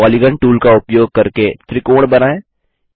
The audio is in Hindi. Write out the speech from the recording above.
पॉलीगॉन टूल का उपयोग करके त्रिकोण बनाएँ